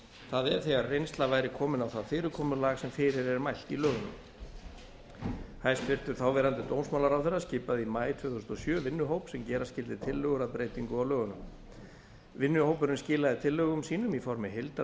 það er þegar reynsla væri komin á það fyrirkomulag sem fyrir er mælt í lögunum hæstvirtur þáverandi dómsmálaráðherra skipaði í maí tvö þúsund og sjö vinnuhóp sem gera skyldi tillögur að breytingu á lögunum vinnuhópurinn skilaði tillögum sínum í formi heildarfrumvarps